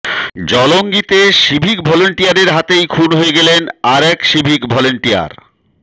জলঙ্গিতে civic ভলেন্টিয়ারের হাতেই খুন হয়ে গেলেন আরেক সিভিক ভলেন্টিয়ার